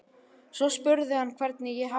Svo spurði hann hvernig ég hefði það.